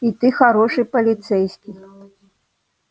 и ты хороший полицейский